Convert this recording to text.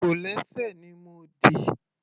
Kòlẹ́sẹ̀ ni mo dì.